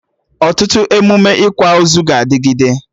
Ọtụtụ emụme ịkwa ozu ga-adịgịde